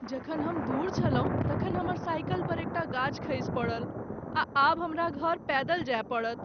जखन हम दूर छलहुँ तखन हमर साइकिल पर एकटा गाछ खसि पड़ल आ आब हमरा घर पैदल जाय पड़त।